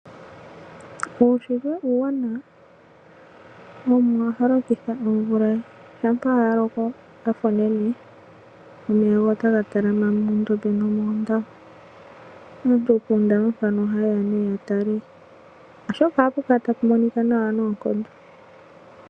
Uunshitwe uuwanawa, Omuwa ohalokitha oomvula ye. Shampa yaloka yafa onene omeya ohaga talama moondombe nomoondama. Aantu poondama mpano ohaye ya nee yatale oshoka ohapu kala tapu monika nawa noonkondo.